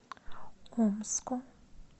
омску